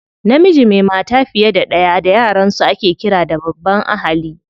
Namiji mai mata fiye da ɗaya da yaransu ake ƙira da babban ahali.